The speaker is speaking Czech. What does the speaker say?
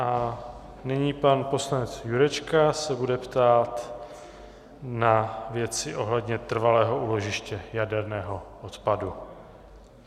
A nyní pan poslanec Jurečka se bude ptát na věci ohledně trvalého úložiště jaderného odpadu.